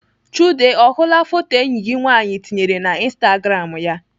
Chude ọ hụla foto enyi gị nwaanyị tinyere na instagram ya?